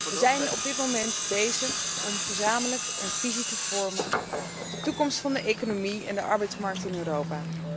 We zijn op dit moment bezig om tot een gezamenlijke visie te komen op de toekomst van de economie en de arbeidsmarkt in Europa.